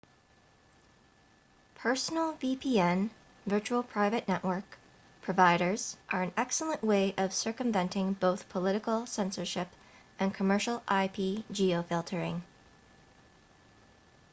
personal vpn virtual private network providers are an excellent way of circumventing both political censorship and commercial ip-geofiltering